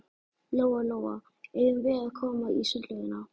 Lóa Lóa, eigum við að koma í sundlaugina?